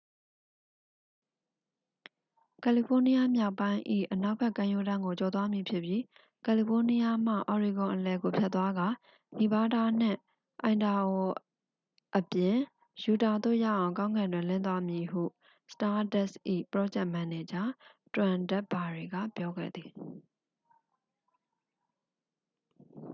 """ကယ်လီဖိုးနီးယားမြောက်ပိုင်း၏ အနောက်ဘက် ကမ်းရိုးတန်းကို ကျော်သွားမည်ဖြစ်ပြီး ကယ်လီဖိုးနီးယားမှ အော်ရီဂွန်အလယ်ကို ဖြတ်သွားကာ နီဗားဒါးနှင့် အိုင်ဒါဟိုအပြင် ယူတာသို့ ရောက်အောင် ကောင်းကင်တွင် လင်းသွားပါမည်" ဟု စတားဒတ်၏ ပရောဂျက်မန်နေဂျာ တွမ်ဒက်ဘာရီက ပြောခဲ့သည်။